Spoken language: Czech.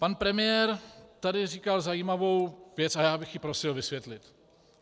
Pan premiér tady říkal zajímavou věc a já bych ji prosil vysvětlit.